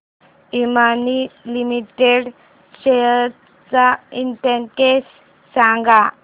Emami limited shares चा index सांगा